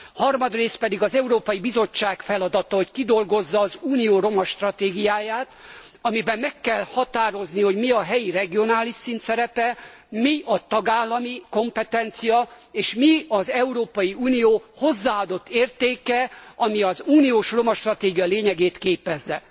Harmadrészt pedig az Európai Bizottság feladata, hogy kidolgozza az Unió romastratégiáját, amiben meg kell határozni, hogy mi a helyi regionális szint szerepe, mi a tagállami kompetencia és mi az Európai Unió hozzáadott értéke, ami az uniós roma stratégia lényegét képezze.